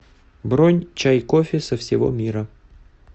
бронь чай кофе со всего мира